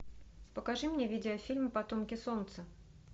покажи мне видео фильм потомки солнца